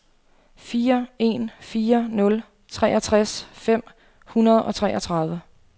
fire en fire nul treogtres fem hundrede og treogtredive